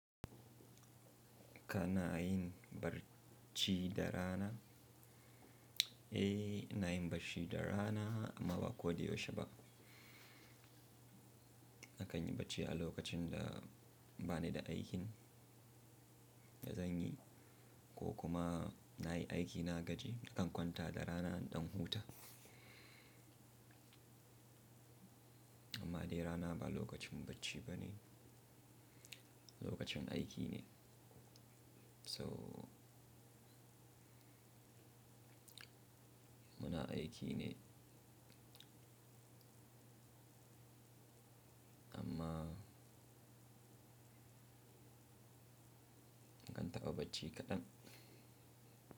Ka na yin barci da rana? Eh, ina yin barci da rana amma ba ko dai yaushe ba. Nakan yi bacci a lokacin da ba ni da aikin da zan yi ko kuma na yi aiki na gaji. Nakan kwanta da rana ɗan huta. Amma dai rana ba lokacin bacci bane, lokacin aiki ne. So muna aiki ne amma nakan taɓa bacci kaɗan.